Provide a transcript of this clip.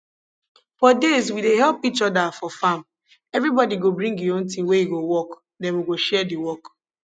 for days we dey help each other for farm everybody go bring e own thing wey e go work then we go share the work